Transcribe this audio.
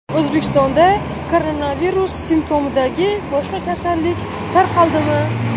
O‘zbekistonda koronavirus simptomidagi boshqa kasallik tarqaldimi?